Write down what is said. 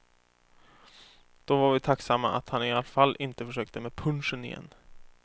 Då var vi tacksamma att han i alla fall inte försökte med punschen igen.